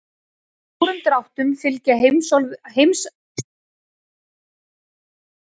Í stórum dráttum fylgja heimsálfurnar meginlöndum jarðar.